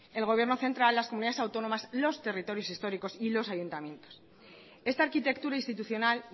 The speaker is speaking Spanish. el gobierno central las comunidades autónomas los territorios históricos y los ayuntamientos esta arquitectura institucional